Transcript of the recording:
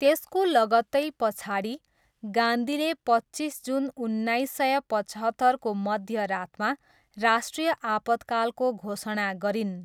त्यसको लगत्तै पछाडि, गान्धीले पच्चिस जुन उन्नाइस सय पचहत्तरको मध्यरातमा राष्ट्रिय आपतकालको घोषणा गरिन्।